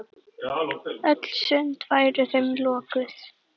Öll sund væru þeim lokuð.